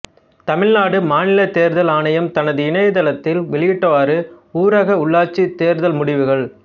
தமிழ்நாடு மாநிலத் தேர்தல் ஆணையம் தனது இணையதளத்தில் வெளியிட்டவாறு ஊரக உள்ளாட்சித் தேர்தல் முடிவுகள்